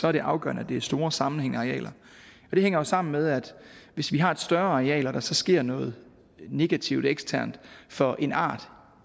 er det afgørende at det er store sammenhængende arealer det hænger jo sammen med at hvis vi har et større areal og der så sker noget negativt eksternt for en art